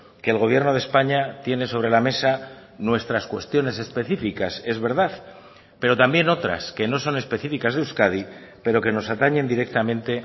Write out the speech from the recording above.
que el gobierno de españa tiene sobre la mesa nuestras cuestiones específicas es verdad pero también otras que no son específicas de euskadi pero que nos atañen directamente